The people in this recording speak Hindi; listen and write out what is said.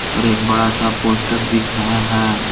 और एक बड़ा सा पोस्टर दिख रहा है।